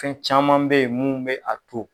Fɛn caman bɛ yen mun bɛ a to